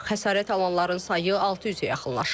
Xəsarət alanların sayı 600-ə yaxınlaşıb.